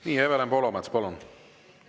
Nii, Evelin Poolamets, palun!